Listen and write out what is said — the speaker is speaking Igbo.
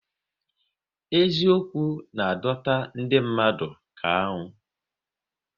Eziokwu na adọta ndị mmadụ ka aṅụ